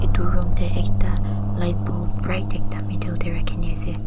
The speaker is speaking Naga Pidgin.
itu room teh ekta light bulb bright ekta middle teh rakhina ase.